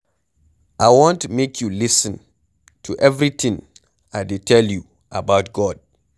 I want make you lis ten to everything I dey tell you about God.